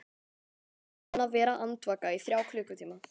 Ég er búinn að vera andvaka í þrjá klukkutíma.